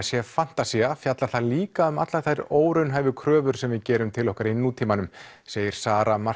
sé fantasía fjallar það líka um allar þær óraunhæfu kröfur sem við gerum til okkar í nútímanum segir Sara